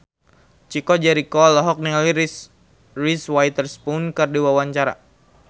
Chico Jericho olohok ningali Reese Witherspoon keur diwawancara